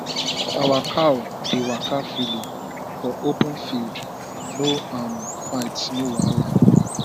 our cow dey waka freely for open field no um fight no wahala